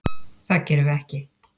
Það gerum við ekki.